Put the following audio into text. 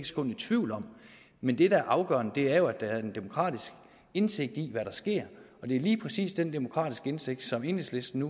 sekund i tvivl om men det der er afgørende er jo at der er en demokratisk indsigt i hvad der sker og det er lige præcis den demokratiske indsigt som enhedslisten